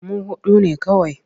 Mu huɗu ne kawai.